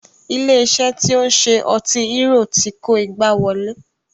Ilé iṣé tí o ń ṣe ọtí hérò ti kó igbá wọlé.